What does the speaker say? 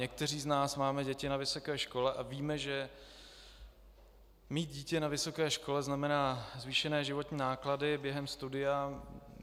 Někteří z nás máme děti na vysoké škole a víme, že mít dítě na vysoké škole znamená zvýšené životní náklady během studia.